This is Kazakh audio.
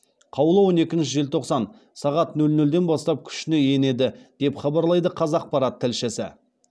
қаулы он екінші желтоқсан сағат нөл нөлден бастап күшіне енеді деп хабарлайды қазақпарат тілшісі